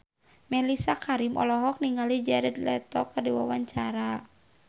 Mellisa Karim olohok ningali Jared Leto keur diwawancara